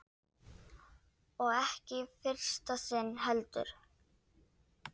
Og ekki í fyrsta sinn heldur.